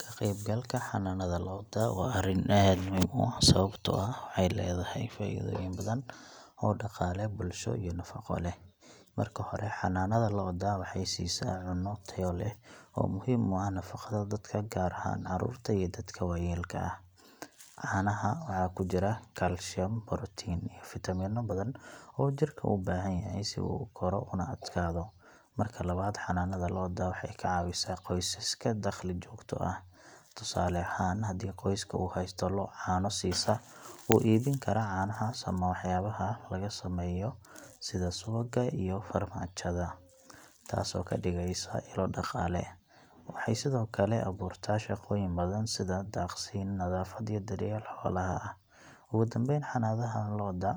Ka qaybgalka xanaanada lo’da waa arrin aad muhiim u ah sababtoo ah waxay leedahay faa’iidooyin badan oo dhaqaale, bulsho iyo nafaqo leh. Marka hore, xanaanada lo’da waxay siisaa caano tayo leh oo muhiim u ah nafaqada dadka, gaar ahaan carruurta iyo dadka waayeelka ah. Caanaha waxa ku jira kalsiyum, borotiin iyo fiitamiino badan oo jirka u baahan yahay si uu u koro una adkaado. Marka labaad, xanaanada lo’da waxay ka caawisaa qoysaska dakhli joogto ah. Tusaale ahaan, haddii qoyska uu haysto lo’ caano siisa, wuu iibin karaa caanahaas ama waxyaabaha laga sameeyo sida subagga iyo farmaajada, taasoo ka dhigaysa ilo dhaqaale. Waxay sidoo kale abuurtaa shaqooyin badan sida daaqsin, nadaafad, iyo daryeel xoolaha ah. Ugu dambayn, xanaanada lo’da